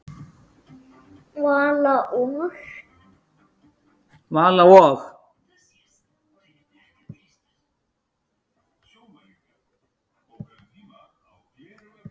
Vala og